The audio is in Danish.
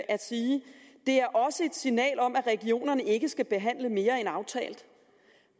at sige det er også et signal om at regionerne ikke skal behandle mere end aftalt